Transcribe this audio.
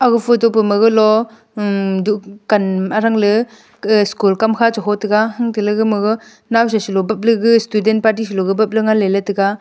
aga photo pa ma galo um duhkan arangley ke school kamkha cheho taiga unteley gamaga nawsaloe bap legu student party selogu bapley taiga.